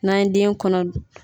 N'an ye den kɔnɔ